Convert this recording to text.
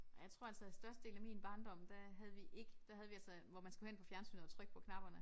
Ej jeg tror altså at størstedelen af min barndom der havde vi ikke der havde vi altså hvor man skulle hen på fjernsynet og trykke på knapperne